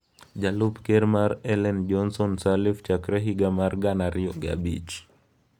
Jalup ker mar Ellen Johnson Sirleaf chakre higa mar gana ariyo gi abich.